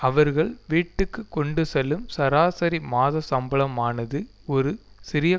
அவர்கள் வீட்டுக்கு கொண்டு செல்லும் சராசரி மாத சம்பளமானது ஒரு சிறிய